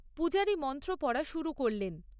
পূজারী মন্ত্র পড়া শুরু করলেন।